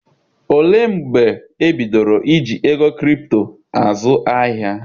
Olee mgbe e bidoro iji ego kripto azụ ahịa?